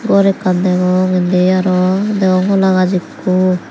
gor ekkan degong indi aro degong hola gaj ekku.